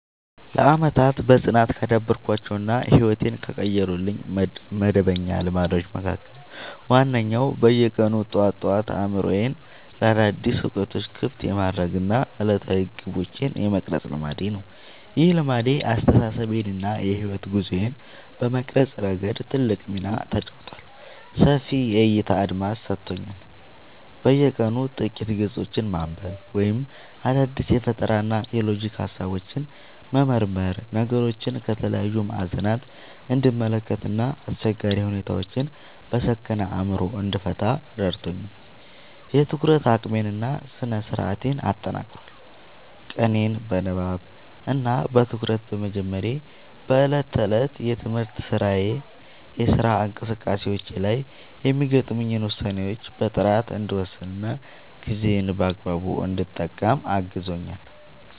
ለዓመታት በጽናት ካዳበርኳቸው እና ሕይወቴን ከቀየሩልኝ መደበኛ ልማዶች መካከል ዋነኛው በየቀኑ ጠዋት ጠዋት አእምሮዬን ለአዳዲስ እውቀቶች ክፍት የማድረግ እና ዕለታዊ ግቦቼን የመቅረጽ ልማዴ ነው። ይህ ልማድ አስተሳሰቤን እና የሕይወት ጉዞዬን በመቅረጽ ረገድ ትልቅ ሚና ተጫውቷል፦ ሰፊ የዕይታ አድማስ ሰጥቶኛል፦ በየቀኑ ጥቂት ገጾችን ማንበብ ወይም አዳዲስ የፈጠራና የሎጂክ ሃሳቦችን መመርመር ነገሮችን ከተለያዩ ማዕዘናት እንድመለከት እና አስቸጋሪ ሁኔታዎችን በሰከነ አእምሮ እንድፈታ ረድቶኛል። የትኩረት አቅሜን እና ስነ-ስርዓቴን አጠናክሯል፦ ቀኔን በንባብ እና በትኩረት በመጀመሬ በዕለት ተዕለት የትምህርትና የሥራ እንቅስቃሴዎቼ ላይ የሚገጥሙኝን ውሳኔዎች በጥራት እንድወስንና ጊዜዬን በአግባቡ እንድጠቀም አግዞኛል።